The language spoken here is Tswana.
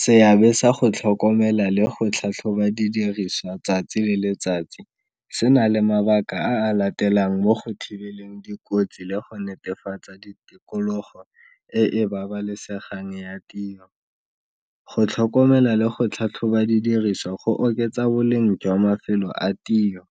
Seabe sa go tlhokomela le go tlhatlhoba didiriswa tsatsi le letsatsi se na le mabaka a a latelang mo go thibeleng dikotsi le go netefatsa tikologo e e babalesegang ya tiro, go tlhokomela le go tlhatlhoba didiriswa go oketsa boleng jwa mafelo a tiro,